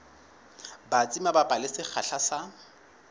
batsi mabapi le sekgahla sa